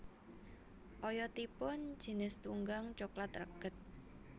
Oyotipun jinis tunggang coklat reged